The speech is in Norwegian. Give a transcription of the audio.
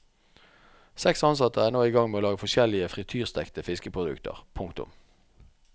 Seks ansatte er nå i gang med å lage forskjellige frityrstekte fiskeprodukter. punktum